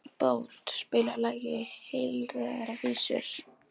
Bót, spilaðu lagið „Heilræðavísur“.